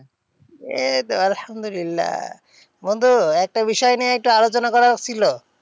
এইতো আলহামদুল্লিয়াহ, বন্ধু একটা বিষয় নিয়ে একটু আলোচনা করার ছিল?